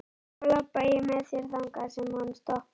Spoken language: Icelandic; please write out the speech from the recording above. Þá labba ég með þér þangað sem hann stoppar.